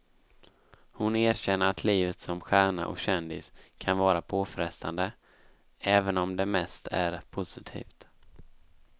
Hon erkänner att livet som stjärna och kändis kan vara påfrestande, även om det mest är positivt.